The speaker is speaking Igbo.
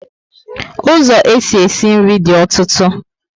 Ụzọ esi e si nri dị ọtụtụ